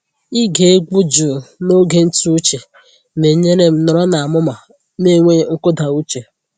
Ịge egwu jụụ n’oge ntụ uche na-enyere m nọrọ n’amụma n’enweghị nkụda uche.